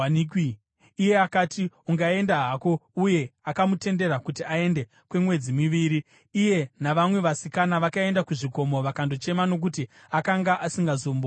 Iye akati, “Ungaenda hako.” Uye akamutendera kuti aende kwemwedzi miviri. Iye navamwe vasikana vakaenda kuzvikomo vakandochema nokuti akanga asingazombowanikwi.